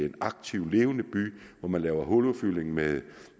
en aktiv og levende by hvor man laver huludfyldning med